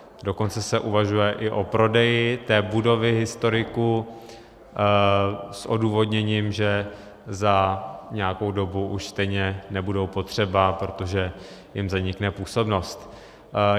Dokonce se uvažuje i o prodeji té budovy historiků s odůvodněním, že za nějakou dobu už stejně nebudou potřeba, protože jim zanikne působnost.